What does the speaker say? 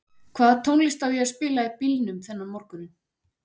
Hvaða tónlist á ég að spila í bílnum þennan morguninn?